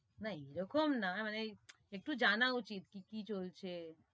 না এরকম না, মানে একটু জানা উচিত কি কি চলছে,